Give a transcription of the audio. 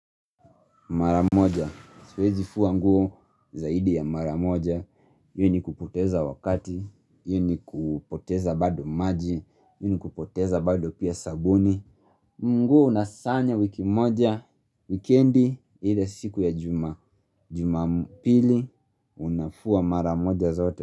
Mara moja, siwezi fua mguo zaidi ya mara moja, hii ni kupoteza wakati, hii ni kupoteza bado maji, hii ni kupoteza bado pia sabuni nguo unasanya wiki moja, wikendi, ile siku ya juma, juma pili, unafua mara moja zaote.